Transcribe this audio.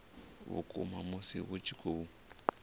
vhukuma musi hu tshi khou